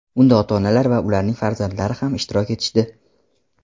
Unda ota-onalar va ularning farzandlari ham ishtirok etishdi.